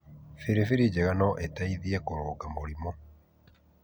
Bĩribĩri njega no ĩ teithie kũrũnga mũrimũ.